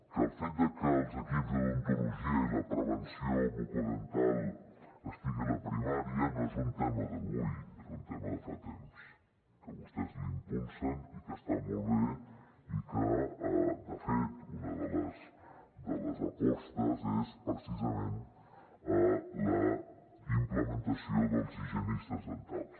que el fet de que els equips d’odontologia i la prevenció bucodental estigui a la primària no és un tema d’avui és un tema de fa temps que vostès l’impulsen i que està molt bé i que de fet una de les de les apostes és precisament la implementació dels higienistes dentals